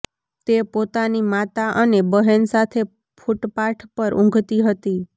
તે પોતાની માતા અને બહેન સાથે ફૂટપાથ પર ઊંઘતી હતી